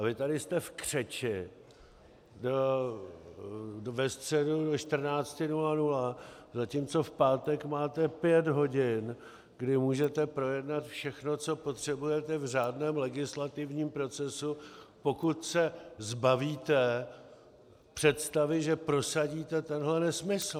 A vy tady jste v křeči, ve středu do 14.00, zatímco v pátek máte pět hodin, kdy můžete projednat všechno, co potřebujete, v řádném legislativním procesu, pokud se zbavíte představy, že prosadíte tenhle nesmysl.